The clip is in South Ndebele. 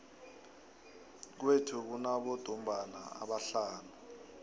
kwethu kunabodumbana abahlanu